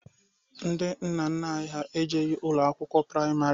Ndị nna nna ha ejeghi ụlọ akwụkwọ praịmarị.